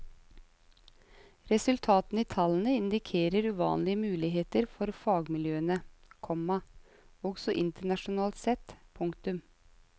Resultatene i tallene indikerer uvanlige muligheter for fagmiljøene, komma også internasjonalt sett. punktum